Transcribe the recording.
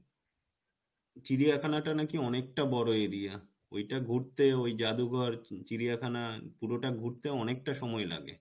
চিড়িয়াখানা টা নাকী অনেকটা বড়ো area ওইটা ঘুরতে ওই জাদু ঘর চিড়িয়াখানা পুরোটা ঘুরতে অনেকটা সময় লাগে